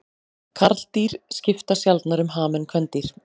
Karldýr skipta sjaldnar um ham en kvendýr.